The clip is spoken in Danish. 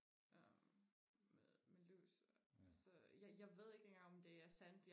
øhm med med lys så jeg jeg ved ikke engang om det er sandt